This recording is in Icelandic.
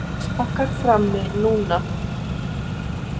Kexpakkar frammi núna.